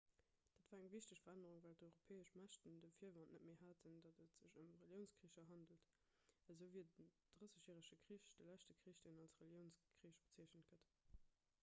dat war eng wichteg verännerung well d'europäesch mächten de virwand net méi hätten datt et sech ëm reliounskricher handelt esou wier den drëssegjärege krich de leschte krich deen als reliounskrich bezeechent gëtt